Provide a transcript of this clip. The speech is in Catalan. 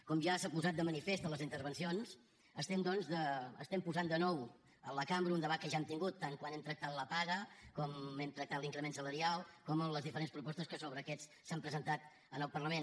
com ja s’ha posat de manifest a les intervencions estem doncs posant de nou a la cambra un debat que ja hem tingut tant quan hem tractat la paga com hem tractat l’increment salarial com les diferents propostes que sobre aquests s’han presentat en el parlament